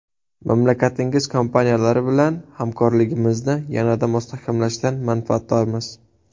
Mamlakatingiz kompaniyalari bilan hamkorligimizni yanada mustahkamlashdan manfaatdormiz.